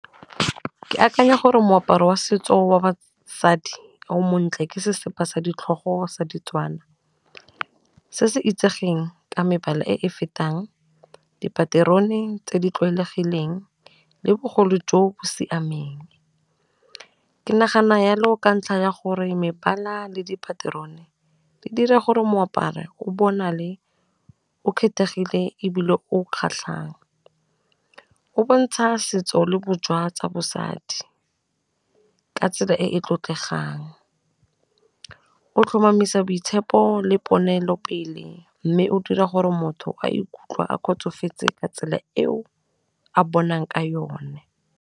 Ke akanya gore moaparo wa setso wa basadi o montle ke sesepa sa ditlhogo sa ditswana se se itsegeng ka mebala e e fetang dipaterone tse di tlwaelegileng, le bogolo jo bo siameng. Ke nagana yalo ka ntlha ya gore mebala le dipaterone di dira gore moaparo o bona le o kgethegile ebile o kgatlhang, o bontsha setso le tsa bosadi ka tsela e e tlotlegang, o tlhomamisa boitshepo le ponelopele mme o dira gore motho a ikutlwa a kgotsofetse ka tsela eo a bonalang ka yone.